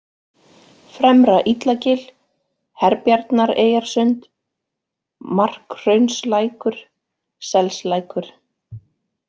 Fremra-Illagil, Herbjarnareyjarsund, Markhraunslækur, Selslækur